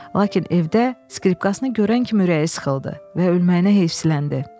Lakin evdə skripkasını görən kimi ürəyi sıxıldı və ölməyinə heyfsiləndi.